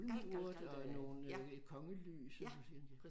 Bulmeurt og nogle øh kongelys